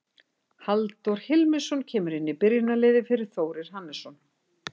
Halldór Hilmisson kemur inn í byrjunarliðið fyrir Þórir Hannesson.